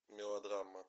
мелодрама